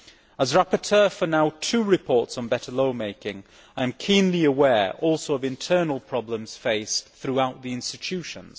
As rapporteur now for two reports on better law making, I am keenly aware also of internal problems faced throughout the institutions.